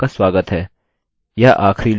यह आखरी लूपloop है जिसे मैं कवर करने जा रहा हूँ